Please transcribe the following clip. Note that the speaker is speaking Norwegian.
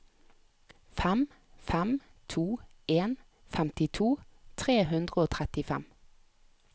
fem fem to en femtito tre hundre og trettifem